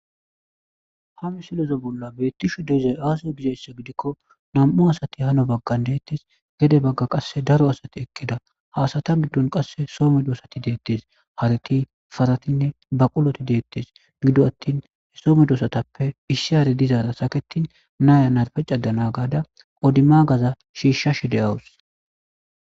Ha misileza bolla beeththishe de7izay aazee gizayssa gidikko nam7u asathi hana baggan deeththes; gede baggan qassi daro asathi eqqida; ha asatha giddon qassi so medoosathi deeththes; harethi,parathinne baqulothi deeththes; gido aththin so medoosathappe issi hare dizaara sakeththin na7iya narppe caddana gaada odimmaagaza shiishshashe de7awus.